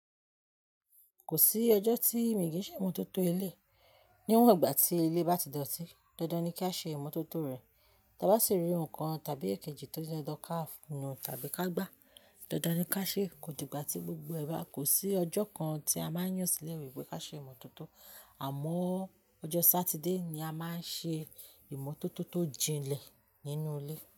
Kò sí ọjọ́ tí mi kì í ṣe ìmọ́tótó ilé. Níwọ̀n ìgbà tí ilé bá ti dọ̀tí, dandan ni kí a ṣe ìmọ́tótó rẹ̀. Tí a bá sì rí ohun kan tàbí èkejì tó jẹ kí a nu-un tàbí ká gbá, dandan ni kí a ṣe. Kò dìgbà tí gbogbo ẹ ba, kò sí ọjọ́ kan tí a máa ń yàn sílẹ̀ wípé ká ṣe ìmọ́tótó. Àmọ́ ọjọ́ Sátidé ni a máa ń ṣe ìmọ́tótó tó jinlẹ̀ nínú ilé.